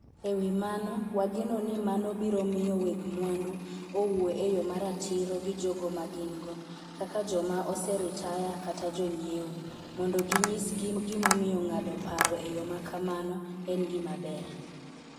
E wi mano, wageno ni mano biro miyo weg mwandu owuo e yo ma ratiro gi jogo ma gin-go (kaka joma oseritaya kata jonyiewo) mondo ginyisgi gimomiyo ng'ado paro e yo ma kamano en gima ber.